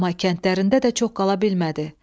Amma kəndlərində də çox qala bilmədi.